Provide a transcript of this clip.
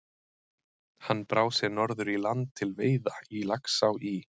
Hann brá sér norður í land til veiða í Laxá í